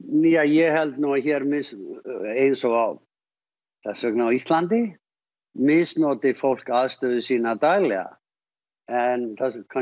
Weinstein ég held nú að hér eins og þess vegna á Íslandi misnoti fólk aðstöðu sína daglega en